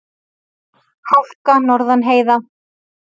Hálka norðan heiða